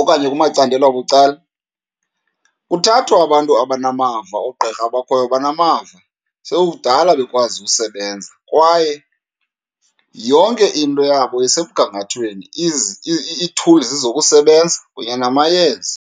okanye kumacandelo abucala kuthathwa abantu abanamava. Oogqirha abakhoyo banamava, sekukudala bekwazi usebenza kwaye yonke into yabo isemgangathweni, ii-tools zokusebenza kunye namayeza.